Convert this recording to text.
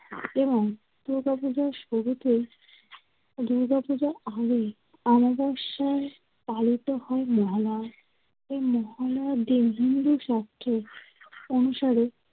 এবং কেউ কাউকে যে দুর্গাপূজার আগেই অমাবশ্যায় পালিত হয় মহালয়া। এ মহালয়ার দিন হিন্দুশাস্ত্রের অনুসারে